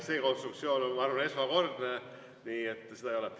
See konstruktsioon on esmakordne, aga seda ei ole.